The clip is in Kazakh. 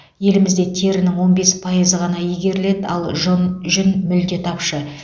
елімізде терінің он бес пайызы ғана игеріледі ал жұн жүн мүлде тапшы